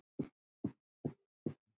Hvar er skjól?